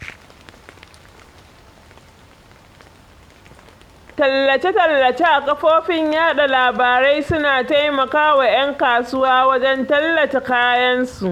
Tallace-tallace a kafofin yaɗa labarai suna taimakawa ƴan kasuwa wajen tallata kayansu